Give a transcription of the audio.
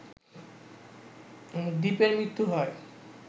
দীপের মৃত্যু হয়